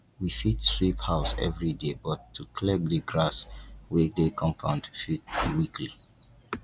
we fit sweep house everyday but to clear di grass wey dey compound fit be weekly